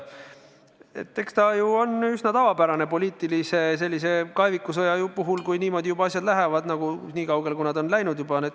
Eks see ole üsna tavapärane poliitilise kaevikusõja puhul, kui juba asjad on läinud nii kaugele, kui nad läinud on.